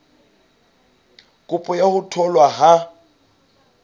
kopo ya ho tholwa ha